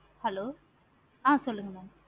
hello ஆஹ் sollunga mam